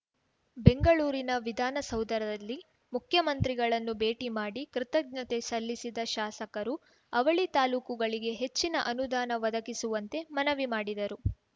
ಬೆಂಗಳೂರಿನ ವಿಧಾನಸೌಧರಲ್ಲಿ ಮುಖ್ಯಮಂತ್ರಿಗಳನ್ನು ಭೇಟಿ ಮಾಡಿ ಕೃತಜ್ಞತೆ ಸಲ್ಲಿಸಿದ ಶಾಸಕರು ಅವಳಿ ತಾಲೂಕುಗಳಿಗೆ ಹೆಚ್ಚಿನ ಅನುದಾನ ಒದಗಿಸುವಂತೆ ಮನವಿ ಮಾಡಿದರು